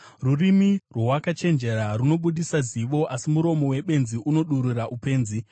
Rurimi rwowakachenjera runobudisa zivo, asi muromo webenzi unodurura upenzi.